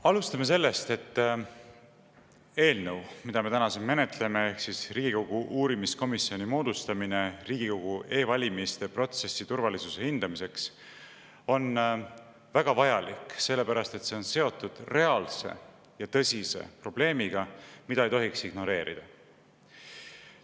Alustame sellest, et eelnõu, mida me täna siin menetleme, ehk siis Riigikogu otsus moodustada uurimiskomisjon Riigikogu e-valimiste protsessi turvalisuse hindamiseks, on väga vajalik, sellepärast et see on seotud reaalse ja tõsise probleemiga, mida ei tohiks ignoreerida.